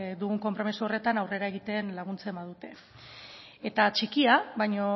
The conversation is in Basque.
dugun konpromiso horretan aurrera egiten laguntzen badute eta txikia baina